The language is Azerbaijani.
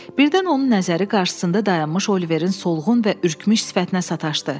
Birdən onun nəzəri qarşısında dayanmış Oliverin solğun və ürkmüş sifətinə sataşdı.